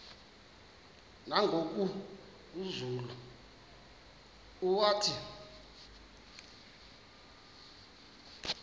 nangoku zulu uauthi